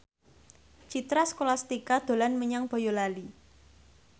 Citra Scholastika dolan menyang Boyolali